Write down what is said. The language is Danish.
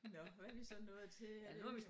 Nåh hvad er vi så nået til er det